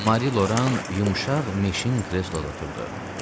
Mari Loran yumşaq meşin kresloda oturdu.